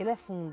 Ele é fundo.